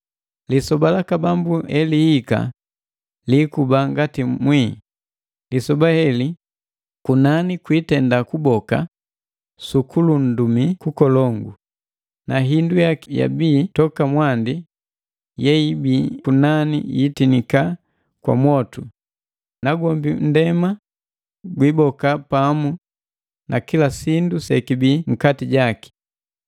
Lisoba laka Bambu elihika liikuba ngati mwii. Lisoba heli, kunani kwiitenda kuboka sukulundumii kukolongu; na hindu yaki yeyabii toka mwandi yeibii kunani yiitinika kwa mwotu, nagwombi nndema gwiboka pamu na kila sindu sekibii nkati jaki.